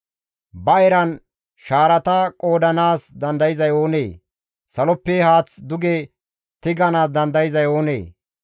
Ba eran shaarata qoodanaas dandayzay oonee? saloppe haath duge tiganaas dandayzay oonee?